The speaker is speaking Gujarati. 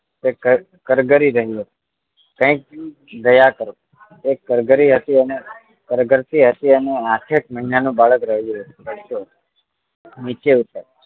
કરગરી રહ્યું છે કાંઈક દયા કરો એમ કરગરી હતી કરગરતી હતી અને આઠ એક મહિના નું બાળક રડતું હતું નીચે ઉતરવા